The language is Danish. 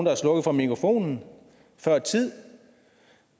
har slukket for mikrofonen før tid